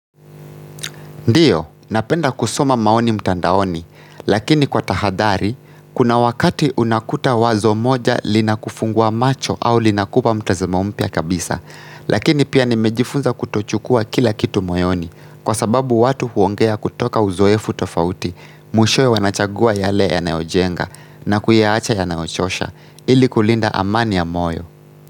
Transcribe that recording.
Ndiyo, napenda kusoma maoni mtandaoni, lakini kwa tahadhari, kuna wakati unakuta wazo moja linakufungua macho au linakupa mtazamo mpya kabisa, lakini pia nimejifunza kutochukua kila kitu moyoni, kwa sababu watu huongea kutoka uzoefu tofauti, mwishowe wanachagua yale yanayojenga, na kuyaacha yanayochosha, ili kulinda amani ya moyo.